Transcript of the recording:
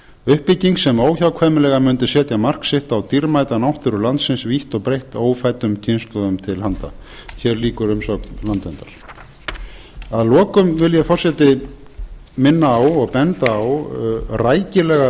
uppbygging sem óhjákvæmilega mundi setja mark sitt á dýrmæta náttúru landsins vítt og breitt ófæddum kynslóðum til handa hér lýkur umsögn landverndar að lokum vil ég forseti minna á og benda á rækilega